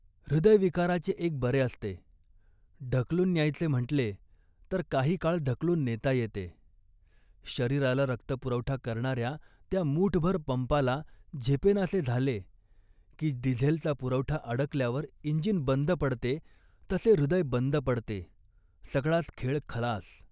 हृदयविकाराचे एक बरे असते, ढकलून न्यायचे म्हटले तर काही काळ ढकलून नेता येते. शरीराला रक्तपुरवठा करणाऱ्या त्या मूठभर पंपाला झेपेनासे झाले, की डिझेलचा पुरवठा अडकल्यावर इंजिन बंद पड़ते तसे हृदय बंद पडते, सगळाच खेळ खलास